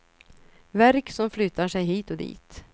Värk som flyttar sig hit och dit.